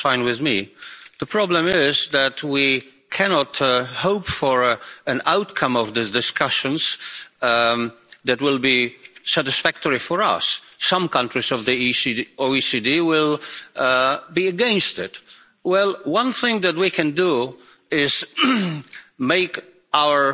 That's fine with me. The problem is that we cannot hope for an outcome of these discussions that will be satisfactory for us. Some OECD countries will be against it. Well, one thing that we can do is make